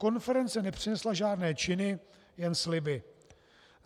Konference nepřinesla žádné činy, jen sliby.